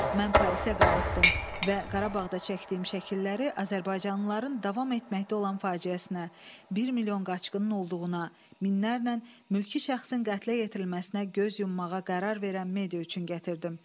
Mən Parisə qayıtdım və Qarabağda çəkdiyim şəkilləri azərbaycanlıların davam etməkdə olan faciəsinə, bir milyon qaçqının olduğuna, minlərlə mülki şəxsin qətlə yetirilməsinə göz yummağa qərar verən media üçün gətirdim.